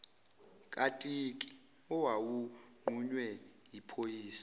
katiki owawunqunywe yiphoyisa